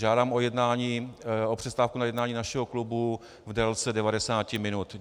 Žádám o přestávku na jednání našeho klubu v délce 90 minut.